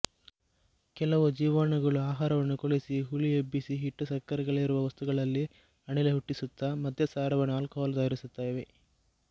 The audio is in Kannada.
ಕೆಲವು ಜೀವಾಣುಗಳು ಆಹಾರವನ್ನು ಕೊಳೆಸಿ ಹುಳಿಯೆಬ್ಬಿಸಿ ಹಿಟ್ಟು ಸಕ್ಕರೆಗಳಿರುವ ವಸ್ತುಗಳಲ್ಲಿ ಅನಿಲ ಹುಟ್ಟಿಸುತ್ತ ಮದ್ಯಸಾರವನ್ನು ಆಲ್ಕೊಹಾಲ್ ತಯಾರಿಸುತ್ತವೆ